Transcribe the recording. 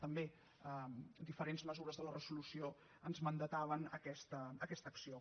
també diferents mesures de la resolució ens mandataven aquesta acció